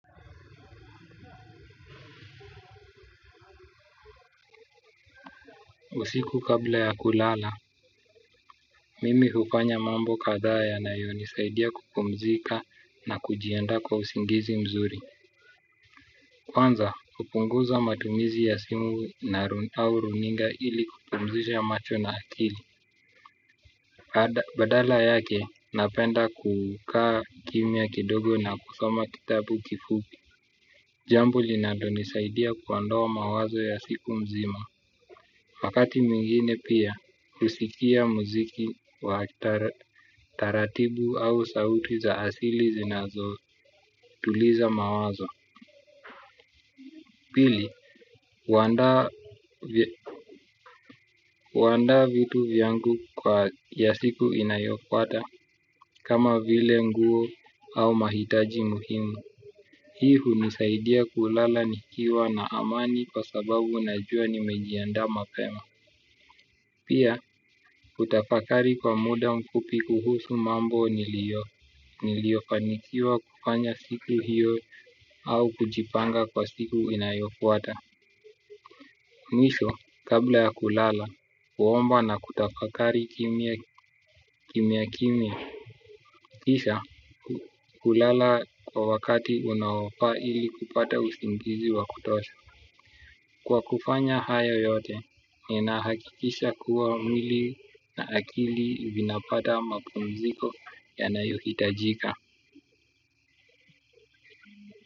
Usiku kabla ya kulala, mimi hufanya mambo kadhaa yanayonisaidia kupumzika na kujiaanda kwa usingizi mzuri. Kwanza hupunguza matumizi ya simu au runinga ili kupumzisha macho na akili. Badala yake, napenda kukaa kimya kidogo na kusoma kitabu kifupi. Jambo linalonisaidia kuondoa mawazo ya siku mzima wakati mwingine pia husikia muziki wa taratibu au sauti za asili zinazotuliza mawazo pili, huandaa vitu vyangu vya siku inayofuata kama vile nguo au mahitaji muhimu. Hii hunisaidia kulala nikiwa na amani kwa sababu najua nimejiandaa mapema. Pia, kutafakari kwa muda mfupi kuhusu mambo niliyofanikiwa kufanya siku hiyo au kujipanga kwa siku inayofuata. Misho, kabla ya kulala, huomba na kutafakari kimya kimya, kisha, hulala kwa wakati unaofaa ili kupata usingizi wa kutosha. Kwa kufanya haya yote, ninahakikisha kuwa mwili na akili vinapata mapumziko yanayohitajika.